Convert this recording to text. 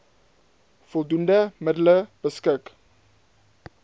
voldoende middele beskik